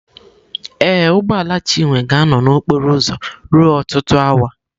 Ee, ụgbọ ala Chinwe ga-anọ na okporo ụzọ ruo ọtụtụ awa.